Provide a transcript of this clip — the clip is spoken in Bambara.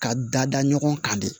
Ka dada ɲɔgɔn kan de